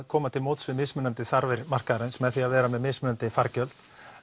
komast til móts við mismunandi þarfir markaðarins með því að vera með mismunandi fargjöld